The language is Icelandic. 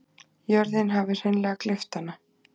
Jörðin hafði hreinlega gleypt hana.